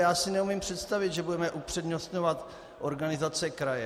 Já si neumím představit, že budeme upřednostňovat organizace kraje.